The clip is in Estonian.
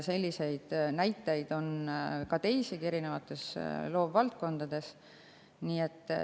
Selliseid näiteid on teisigi ja erinevates loovvaldkondades.